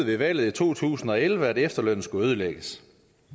ved valget i to tusind og elleve besluttede at efterlønnen skulle ødelægges